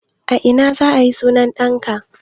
A ina za a yi sunan ɗanka?